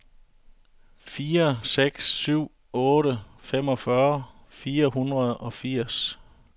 fire seks syv otte femogfyrre fire hundrede og firs